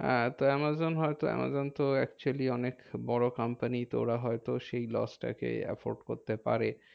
হ্যাঁ, তো আমাজন হয়তো আমাজন তো actually অনেক বড় company. তো ওরা হয়তো সেই loss টাকে effort করতে পারে।